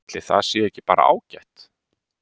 Ætli það sé ekki bara ágætt?